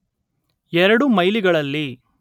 ಎರಡು ಮೈಲಿಗಳಲ್ಲಿ